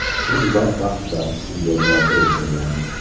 U uzoq vaqtlar shu yerlarda yashagan.